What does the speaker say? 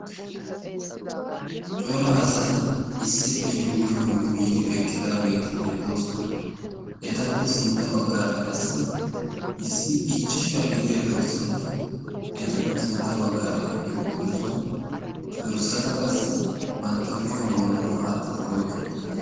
cora asati issippe yuushon yuuyiidi eqqidaageeti beettoosona etappe sintta baggaara qassi issi ichchashaa gidiya dorssati etappe sintta baggaara eqqi uttidosona dorssata qassi bantta kushiyan wodoro aattidi oiqqi uttidoos